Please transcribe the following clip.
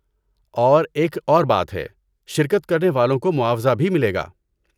اور ایک اور بات ہے، شرکت کرنے والوں کو معاوضہ بھی ملے گا۔